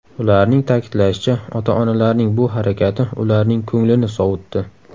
Ularning ta’kidlashicha, ota-onalarning bu harakati ularning ko‘nglini sovutdi.